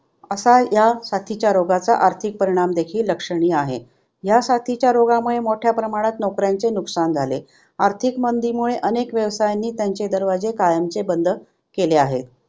असा या साथीच्या रोगाचा आर्थिक परीणाम देखील लक्षणीय आहे. ह्या साथीच्या रोगामुळे मोठ्या प्रमाणात नोकऱ्यांचे नुकसान झाले. आर्थिक मंदीमुळे अनेक व्यवसायांनी त्यांचे दरवाजे कायमचे बंद केले आहेत.